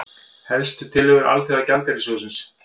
Helstu tillögur Alþjóðagjaldeyrissjóðsins